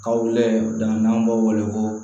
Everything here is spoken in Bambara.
Kaw layɛ dan n'an b'aw wele ko